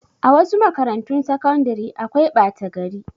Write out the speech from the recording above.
A wasu makarantun sakandare akwai ɓata gari.